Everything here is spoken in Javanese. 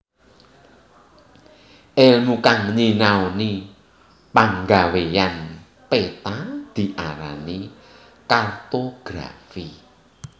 Èlmu kang nyinanoni panggawéyan peta diarani kartografi